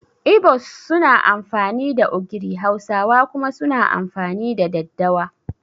Ibo's suna amfani da ogiri Hausawa kuma suna amfani da daddawa